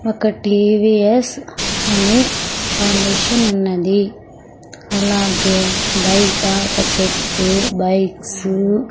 ఒకటి టి _వి_ఎస్ అనే ఫౌండేషన్ ఉన్నది అలాగే బయట ఒక చెట్టు బైక్స్ .